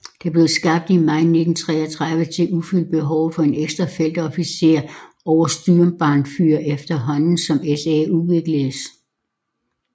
Det blev skabt i maj 1933 til at udfylde behovet for en ekstra feltofficer over Sturmbannführer efterhånden som SA udvikledes